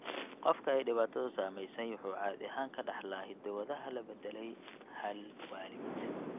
Qofka ay dhibaatadu saameysey wuxuu caadi ahaan ka dhaxlaa hiddo-wadaha la beddelay hal waalid.